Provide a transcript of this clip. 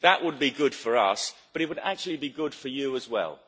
That would be good for us, but it would actually be good for you as well.